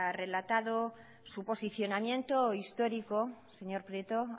relatado su posicionamiento histórico señor prieto